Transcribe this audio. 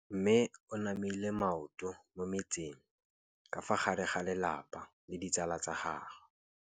Mme o namile maoto mo mmetseng ka fa gare ga lelapa le ditsala tsa gagwe.